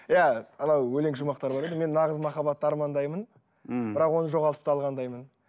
иә анау өлең шумақтары бар еді мен нағыз махаббатты армандаймын мхм бірақ оны жоғалтып та алғандаймын